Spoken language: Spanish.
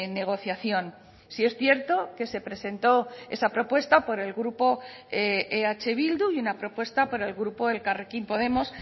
negociación sí es cierto que se presentó esa propuesta por el grupo eh bildu y una propuesta por el grupo elkarrekin podemos